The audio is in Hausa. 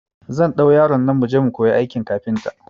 Zan ɗau yaron nan muje mu kuyi aikin kafinta